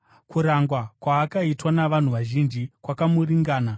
Kurangwa kwaakaitwa navanhu vazhinji kwakamuringana.